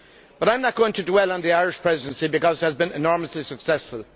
But I am not going to dwell on the Irish Presidency because it has been enormously successful.